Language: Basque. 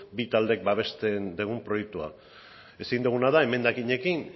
bi taldeen babesten dugu proiektua ezin duguna da emendakinekin